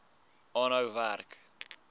aanhou werk